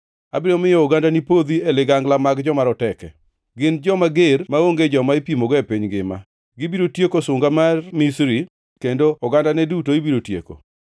Abiro miyo ogandani podhi e dho ligangla mag joma roteke; gin joma ger maonge joma ipimogo e piny ngima. Gibiro tieko sunga mar Misri kendo ogandane duto ibiro tieko.